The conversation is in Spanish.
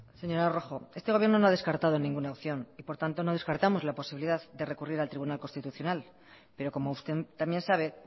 señora rojo este gobierno no ha descartado ninguna opción y por tanto no descartamos la posibilidad de recurrir al tribunal constitucional pero como usted también sabe